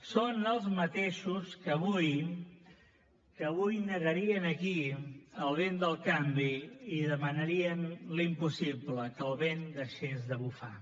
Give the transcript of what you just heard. són els mateixos que avui negarien aquí el vent del canvi i demanarien l’impossible que el vent deixés de bufar